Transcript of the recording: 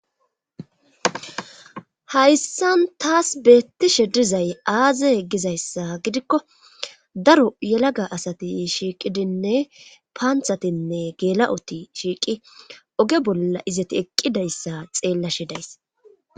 Hayssan taas beettishe dizay aaze gizayssa gidikko daro yelaga asati shiiqidinne paanthatinne geela'oti shiiqi oge bolla izati eqqidayssa xeellashe days.